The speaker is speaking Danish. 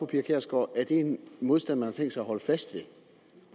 pia kjærsgaard er det en modstand man har tænkt sig at holde fast ved